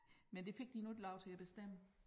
Men det fik de nu ikke lov til at bestemme